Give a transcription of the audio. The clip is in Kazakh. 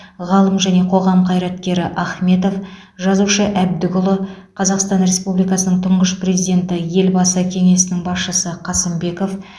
ғалым және қоғам қайраткері ахметов жазушы әбдікұлы қазақстан республикасының тұңғыш президенті елбасы кеңсесінің басшысы қасымбеков